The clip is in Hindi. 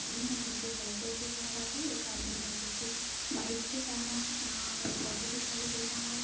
आदमी है जो की साइकिल से जा रहा है एक आदमी है जो की बाइक से जा रहा है। यहां हमें एक ऑटो दिखाई देरहा है।